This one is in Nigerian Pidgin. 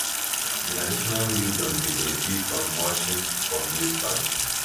generational wisdom dey benefit from mulching for maize farm